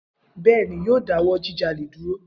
Bẹẹni, yoo dawọ jijale duro.